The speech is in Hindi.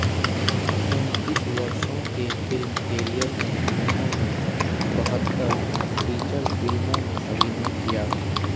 उनतीस वर्षों के फिल्मी कैरियर में उन्होने बहत्तर फीचर फिल्मों में अभिनय किया